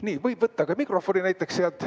Nii, võib võtta ka mikrofoni, näiteks sealt.